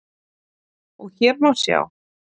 og hér má sjá